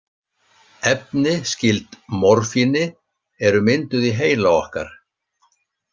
Efni skyld morfíni eru mynduð í heila okkar.